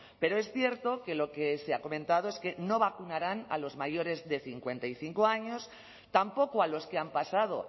pero es cierto que lo que se ha comentado es que no vacunarán a los mayores de cincuenta y cinco años tampoco a los que han pasado